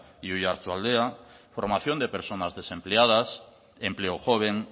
y oarsoaldea formación de personas desempleadas empleo joven